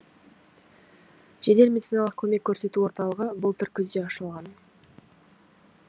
жедел медициналық көмек көрсету орталығы былтыр күзде ашылған